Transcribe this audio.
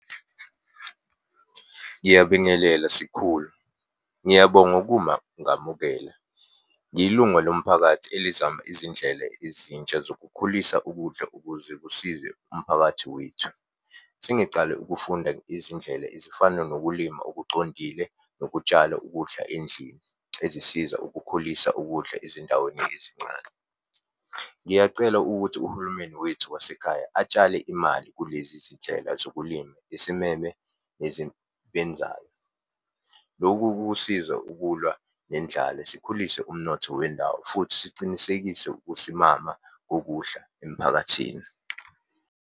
Ngiyabingelela sikhulu, ngiyabonga ukuma ngamukela. Ngiyilunga lomphakathi elizama izindlela ezintsha zokukhulisa ukudla ukuze kusize umphakathi wethu. Sengicale ukufunda izindlela ezifana nokulima okucondile, nokutshala ukudla endlini. Ezisiza ukukhulisa ukudla ezindaweni ezincane. Ngiyacela ukuthi uhulumeni wethu wasekhaya atshale imali kulezi zindlela zokulima isimeme . Lokhu kusiza ukulwa nendlala, sikhulise umnotho wendawo, futhi sicinisekise ukusimama kokudla emphakathini.